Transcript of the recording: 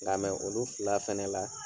Lamɛ olu fila fɛnɛ la